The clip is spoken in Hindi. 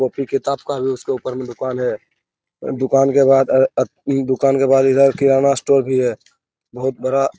वो फिर किताब का भी उसके उपर में दुकान है पर दुकान के बाद दूकान के बाद इधर किराना स्टोर भी है बहुत बड़ा --